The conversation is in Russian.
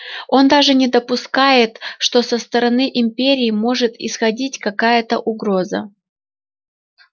он даже не допускает что со стороны империи может исходить какая-то угроза